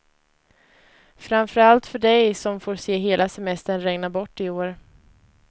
Framför allt för dig som får se hela semestern regna bort i år.